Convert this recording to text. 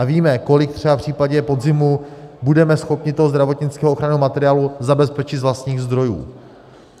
A víme, kolik třeba v případě podzimu budeme schopni toho zdravotnického ochranného materiálu zabezpečit z vlastních zdrojů.